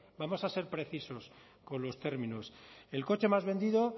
vamos a ser precisos con los términos el coche más vendido